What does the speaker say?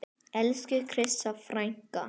Elsku Krissa frænka.